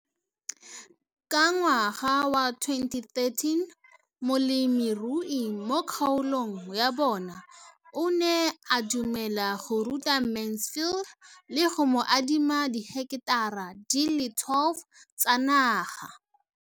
Ka ngwaga wa 2013, molemirui mo kgaolong ya bona o ne a dumela go ruta Mansfield le go mo adima di heketara di le 12 tsa naga.